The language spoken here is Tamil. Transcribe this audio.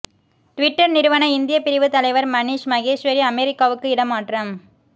ட்விட்டர் நிறுவன இந்தியப் பிரிவு தலைவர் மணிஷ் மகேஸ்வரி அமெரிக்காவுக்கு இடமாற்றம்